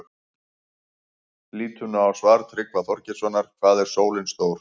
Lítum nú á svar Tryggva Þorgeirssonar, Hvað er sólin stór?